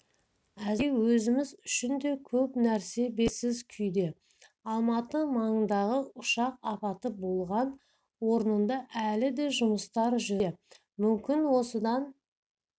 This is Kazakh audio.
әзірге өзіміз үшін де көп нәрсе белгісіз күйде алматы маңындағы ұшақ апаты болған орында әлі де жұмыстар жүріп зерттелуде мүмкін осыдан